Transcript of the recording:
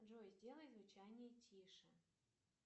джой сделай звучание тише